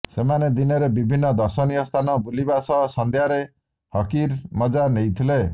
ସେମାନେ ଦିନରେ ବିଭିନ୍ନ ଦର୍ଶନୀୟ ସ୍ଥାନ ବୁଲିବା ସହ ସଂଧ୍ୟାରେ ହକିର ମଜ୍ଜା ନେବେ